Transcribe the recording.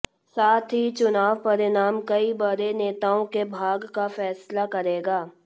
साथ ही चुनाव परिणाम कई बड़े नेताओं के भाग्य का फैसला करेगा